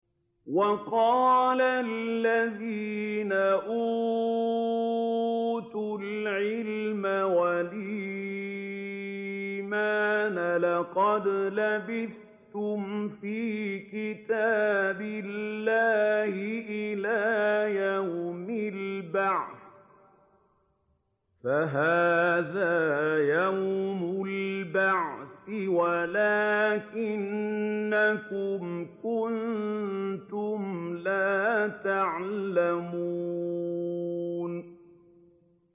وَقَالَ الَّذِينَ أُوتُوا الْعِلْمَ وَالْإِيمَانَ لَقَدْ لَبِثْتُمْ فِي كِتَابِ اللَّهِ إِلَىٰ يَوْمِ الْبَعْثِ ۖ فَهَٰذَا يَوْمُ الْبَعْثِ وَلَٰكِنَّكُمْ كُنتُمْ لَا تَعْلَمُونَ